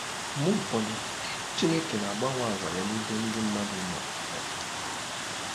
Mgbe ụfọdụ, Chineke na-agbanwe àgwà ya n'ebe ndị mmadụ nọ nọ.